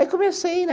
Aí comecei, né?